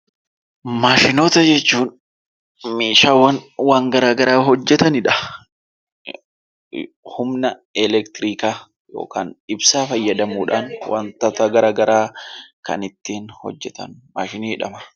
Maashinoota jechuun meeshaawwan waan gara garaa hojjetani dha. Humna elektiriikaa yookaan ibsaa fayyadamuu dhaan wantoota gara garaa kan ittiin hojjetan 'Maashinii' jedhama.